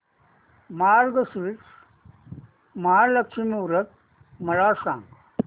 मार्गशीर्ष महालक्ष्मी व्रत मला सांग